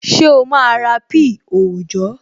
Ṣé o máa ra píì òòjọ́?